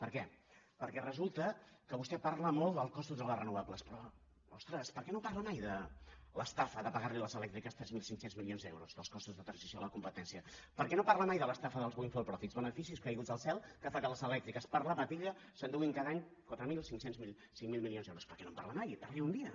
per què perquè resulta que vostè parla molt dels costos de les renovables però ostres per què no parla mai l’estafa de pagar a les elèctriques tres mil cinc cents milions d’euros dels costos de transició de la competència per què no parla mai de l’estafa dels windfall profitsque les elèctriques per la patilla s’enduguin cada any quatre milcinc mil milions d’euros per què no en parla mai parli’n un dia